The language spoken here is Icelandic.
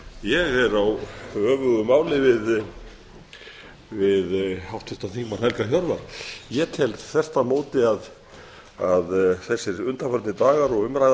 ég er á öfugu máli við háttvirtan þingmann helga hjörvar ég tel þvert á móti að undanfarnir dagar og umræða